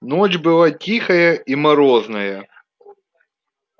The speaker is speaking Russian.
ночь была тихая и морозная